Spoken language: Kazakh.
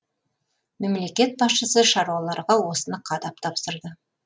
мемлекет басшысы шаруаларға осыны қадап тапсырды